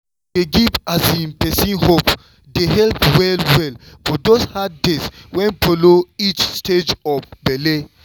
to dey give person hope dey help well-well for those hard days wey follow each stage of belle.